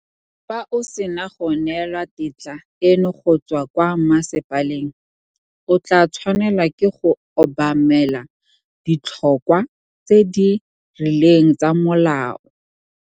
Fa o sena go neelwa tetla eno go tswa kwa masepaleng, o tla tshwanela ke go obamela ditlhokwa tse di rileng tsa molao.